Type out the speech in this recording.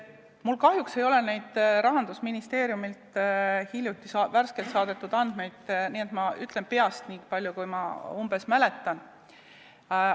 Mul kahjuks ei ole neid Rahandusministeeriumi värskelt saadetud andmeid, nii et ma ütlen peast, niipalju kui ma umbes mäletan.